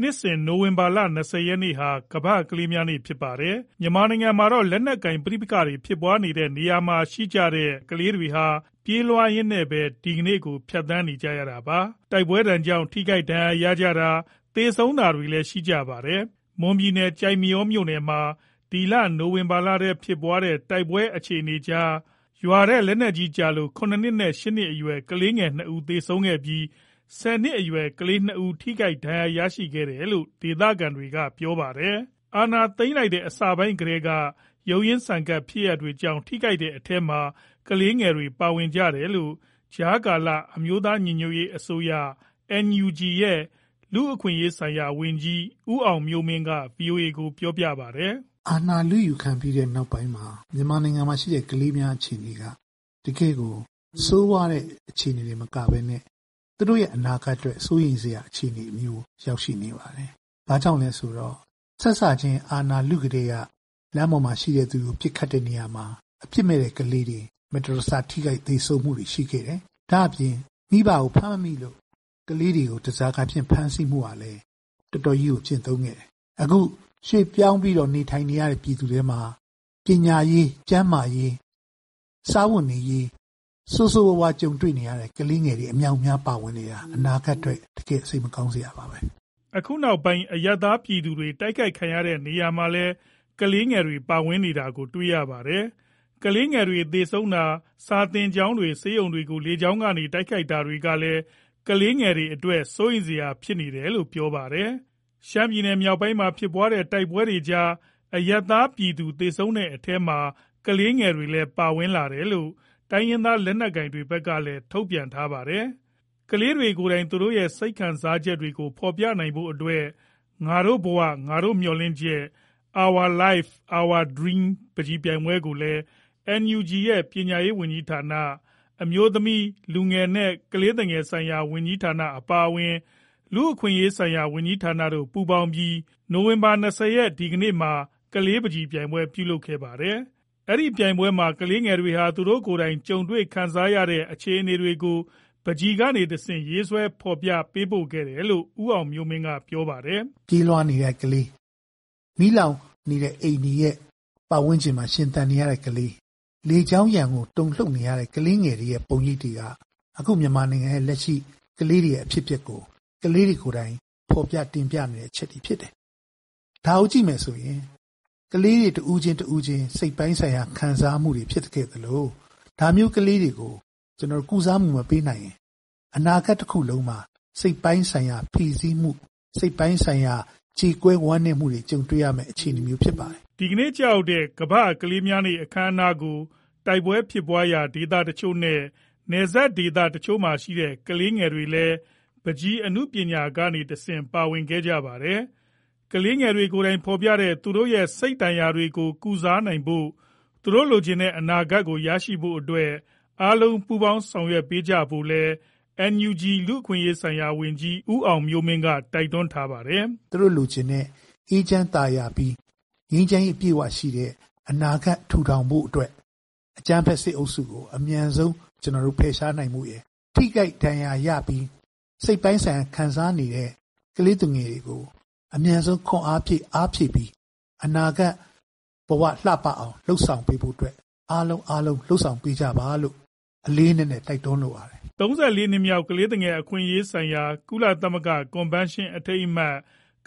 နှစ်စဉ် နိုဝင်ဘာလ ၂၀ ရက်နေ့ဟာ ကမ္ဘာ့ကလေးများနေ့ ဖြစ်ပါတယ်။ မြန်မာနိုင်ငံမှာတော့ လက်နက်ကိုင် ပဋိပက္ခဖြစ်ပွားတဲ့ နေရာတွေမှာ ရှိနေတဲ့ ကလေးတွေဟာ ပြေးလွှားရင်းနဲ့ပဲ ဒီကနေ့ကို ဖြတ်သန်းနေရတာပါ။ တိုက်ပွဲဒဏ်ကြောင့် ထိခိုက်ဒဏ်ရာရတာ၊ သေဆုံးတာလည်း ရှိပါတယ်။ မွန်ပြည်နယ်၊ ကျိုက်မရောမြို့နယ်မှာ အခု နိုဝင်ဘာလထဲ ဖြစ်ပွားနေတဲ့ တိုက်ပွဲအခြေအနေကြားမှာ ရွာထဲ လက်နက်ကြီးကျလို့ ၇ နှစ်နဲ့ ၈ နှစ်အရွယ် ကလေးငယ်နှစ်ဦး သေဆုံးခဲ့ပြီး၊ ၁၀ နှစ်အရွယ် ကလေးနှစ်ဦး ထိခိုက်ဒဏ်ရာ ရခဲ့တယ်လို့ ဒေသခံတွေက ပြောပါတယ်။ အာဏာသိမ်းလိုက်တဲ့ အစပိုင်းကတည်းက ရုန်းရင်းဆန်ခတ် ဖြစ်ရပ်တွေကြောင့် ထိခိုက်ကြတဲ့ အထဲမှာ ကလေးငယ်တွေလည်း ပါဝင်ခဲ့တယ်လို့ ကြားကာလအမျိုးသား ညီညွတ်ရေးအစိုးရ NUG ရဲ့ လူ့အခွင့်အရေးဆိုင်ရာဝန်ကြီး ဦးအောင်မျိုးမင်းက ဗွီအိုအေကို ပြောပါတယ်။ "အာဏာလုယူခံပြီးတဲ့ နောက်ပိုင်းမှာ မြန်မာနိုင်ငံမှာရှိတဲ့ ကလေးများ အခြေအနေက တကယ့်ကို ဆိုးရွားတဲ့ အခြေအနေတွေ တင်မကဘဲနဲ့ သူတို့ရဲ့ အနာဂတ်အတွက် စိုးရိမ်စရာ အခြေအနေမျိုး ရောက်ရှိနေပါတယ်။ ဘာကြောင့်လဲဆိုတော့ စစချင်း အာဏာလုကတည်းက လမ်းပေါ်မှာရှိတဲ့သူကို ပစ်ခတ်တဲ့နေရာမှာ အပြစ်မဲ့တဲ့ ကလေးငယ်တွေ မတော်တဆ ထိခိုက်သေဆုံးမှုတွေ ရှိခဲ့တယ်။ ဒါ့အပြင် မိဘကိုဖမ်းမိလို့ ကလေးတွေကို ဓားစာခံအဖြစ် ဖမ်းဆီးမှုကလည်း တော်တော်ကြီးကို ကျင့်သုံးခဲ့တယ်။ အခု ရွှေ့ပြောင်းပြီးတော့ နေထိုင်နေရတဲ့ ပြည်သူထဲမှာ ပညာရေး၊ ကျန်းမာရေး၊ စားဝတ်နေရေး ဆိုးဆိုးရွားရွား ကြုံတွေ့နေရတဲ့ ကလေးငယ်တွေ အမြောက်အများ ပါဝင်နေတာ အနာဂတ်အတွက် တကယ့်ကို စိတ်မကောင်းစရာပါပဲ။" အခုနောက်ပိုင်း အရပ်သားပြည်သူတွေ တိုက်ခိုက်ခံရတဲ့ နေရာမှာလည်း ကလေးငယ်တွေ ပါဝင်နေတာကို တွေ့ရတယ်လို့ ပြောပါတယ်။ ကလေးငယ်တွေ သေဆုံးတာ၊ စာသင်ကျောင်းတွေ၊ ဆေးရုံတွေကို လေကြောင်းကနေ တိုက်ခိုက်တာတွေကလည်း ကလေးငယ်တွေအတွက် စိုးရိမ်စရာဖြစ်နေတယ်လို့ ပြောပါတယ်။ ရှမ်းပြည်နယ်မြောက်ပိုင်းမှာ ဖြစ်ပွားနေတဲ့ တိုက်ပွဲတွေကြား အရပ်သားပြည်သူ သေဆုံးတဲ့အထဲမှာ ကလေးငယ်တွေလည်း ပါဝင်လာတယ်လို့ တိုင်းရင်းသား လက်နက်ကိုင်တွေဘက်ကလည်း ထုတ်ပြန်ထားပါတယ်။ ကလေးတွေကိုယ်တိုင် သူတို့ရဲ့ စိတ်ခံစားချက်တွေကို ဖော်ပြနိုင်ဖို့အတွက် "ငါတို့ဘဝ၊ ငါတို့မျှော်လင့်ချက် - Our Life, Our Dream" ပန်းချီပြိုင်ပွဲကိုလည်း NUG ရဲ့ ပညာရေးဝန်ကြီးဌာန၊ အမျိုးသမီး၊ လူငယ်နှင့် ကလေးသူငယ်ရေးရာ ဝန်ကြီးဌာန အပါအဝင် လူ့အခွင့်အရေးဆိုင်ရာ ဝန်ကြီးဌာနတို့ ပူးပေါင်းပြီး နိုဝင်ဘာ ၂၀ မှာ ကလေးပန်းချီပြိုင်ပွဲ ပြုလုပ်ခဲ့ပါတယ်။ အဲဒီပြိုင်ပွဲမှာ ကလေးငယ်တွေဟာ သူတို့ကိုယ်တိုင် ကြုံတွေ့ခံစားနေရတဲ့ အခြေအနေတွေကို ပန်းချီကနေတဆင့် ရေးဆွဲဖော်ပြ ပေးပို့ခဲ့တယ်လို့ ဦးအောင်မျိုးမင်းက ပြောပါတယ်။ "ပြေးလွှားနေတဲ့ ကလေး၊ မီးလောင်နေတဲ့ အိမ်တွေရဲ့ ပတ်ဝန်းကျင်မှာ ရှင်သန်နေတဲ့ ကလေး၊ လေကြောင်းရန်ကို တုန်လှုပ်နေရတဲ့ ကလေးငယ်တွေရဲ့ ပုံရိပ်တွေက အခု မြန်မာနိုင်ငံရဲ့ ကလေးငယ်တွေရဲ့ လက်ရှိအဖြစ်အပျက်ကို ကလေးတွေကိုယ်တိုင် ဖော်ပြ တင်ပြနေတဲ့ အချက်တွေဖြစ်တယ်။ ဒါကိုကြည့်မယ်ဆိုရင် ကလေးတွေ တဦးချင်းတဦးချင်း စိတ်ပိုင်းဆိုင်ရာ ခံစားမှုတွေ ဖြစ်ခဲ့သလို၊ ဒါမျိုးကလေးတွေကို ကျနော်တို့် ကုစားမှုမပေးနိုင်ရင် အနာဂတ်တခုလုံးမှာ စိတ်ပိုင်းဆိုင်ရာ ဖိစီးမှု၊ စိတ်ပိုင်းဆိုင်ရာ ကြေကွဲဝမ်းနည်းမှုတွေ ကြုံတွေ့ရမယ့် အခြေအနေမျိုး ဖြစ်ပါတယ်။" ဒီကနေ့ ကျရောက်တဲ့ ကမ္ဘာ့ကလေးများနေ့ အခမ်းအနားကို တိုက်ပွဲဖြစ်ပွားရာ ဒေသတချို့နဲ့ နယ်စပ်ဒေသတချို့မှာရှိတဲ့ ကလေးငယ်တွေလည်း ပန်းချီအနုပညာကနေတဆင့် ပါဝင်ခဲ့ကြပါတယ်။ ကလေးငယ်တွေကိုယ်တိုင် ဖော်ပြနေတဲ့ သူတို့ရဲ့ စိတ်ဒဏ်ရာတွေကို ကုစားနိုင်ဖို့၊ သူတို့ လိုချင်တဲ့ အနာဂတ်ကို ရရှိဖို့အတွက် အားလုံးပူးပေါင်း ဆောင်ရွက်ပေးကြဖို့ကိုလည်း NUG လူ့အခွင့်အရေး ဆိုင်ရာဝန်ကြီး ဦးအောင်မျိုးမင်းက တိုက်တွန်းထားပါတယ်။ "သူတို့လိုချင်တဲ့ အေးချမ်းသာယာပြီး ငြိမ်းချမ်းရေး အပြည့်အဝရှိတဲ့ အနာဂတ် ထူထောင်ဖို့အတွက် အကြမ်းဖက်စစ်အုပ်စုကို အမြန်ဆုံး ကျနော်တို့ ဖယ်ရှားနိုင်ဖို့ရယ်၊ ထိခိုက်ဒဏ်ရာရပြီး စိတ်ပိုင်းဆိုင်ရာ ခံစားနေတဲ့ ကလေးသူငယ်တွေကို အမြန်ဆုံး ခွန်အားဖြည့် အားဖြည့်ပြီး အနာဂတ်ဘဝ လှပအောင် လုပ်ဆောင်ပေးဖို့အတွက် အားလုံးလုပ်ဆောင်ပေးကြပါလို့ လေးလေးနက်နက် တိုက်တွန်းလိုပါတယ်။" ၃၄ နှစ်မြောက် ကလေးသူငယ် အခွင့်အရေးများဆိုင်ရာ ကုလသမဂ္ဂ ကွန်ဗင်းရှင်းအထိမ်းအမှတ်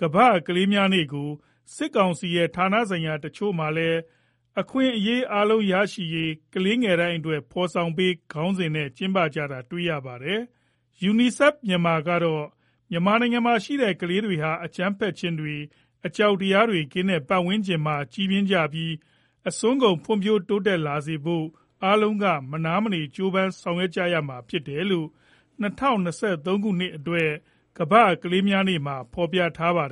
ကမ္ဘာ့ကလေးများနေ့ကို စစ်ကောင်စီရဲ့ ဌာနဆိုင်ရာ တချို့မှာလည်း "အခွင့်အရေးအားလုံး ရရှိရေး ကလေးငယ်တိုင်းအတွက် ဖော်ဆောင်ပေး" ခေါင်းစဉ်နဲ့ ကျင်းပကြတာကို တွေ့ရပါတယ်။ UNICEF Myanmar ကတော့ မြန်မာနိုင်ငံမှာရှိတဲ့ ကလေးတွေဟာ အကြမ်းဖက်ခြင်းတွေ၊ အကြောက်တရားတွေ ကင်းတဲ့ပတ်ဝန်းကျင်မှာ ကြီးပြင်းကြပြီး၊ အစွမ်းကုန်ဖွံ့ဖြိုး တိုးတက်လာစေဖို့ အားလုံးက မနားမနေ ကြိုးပမ်းဆောင်ရွက် ကြရမှာဖြစ်တယ်လို့ ၂၀၂၃ ခုနှစ်အတွက် ကမ္ဘာ့ကလေးများနေ့မှာ ဖော်ပြထားပါတယ်